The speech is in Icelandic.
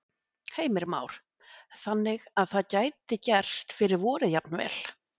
Heimir Már: Þannig að það gæti gerst fyrir vorið jafnvel?